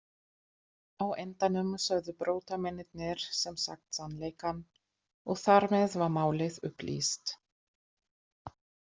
Á endanum sögðu brotamennirnir sem sagt sannleikann og þar með var málið upplýst.